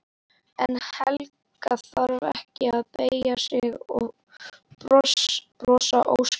Manstu öll jólin í stofunni systir mín góð.